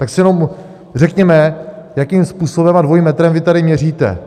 Tak si jenom řekněme, jakým způsobem a dvojím metrem vy tady měříte.